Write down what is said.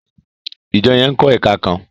ìjọ yén nkó èka kán.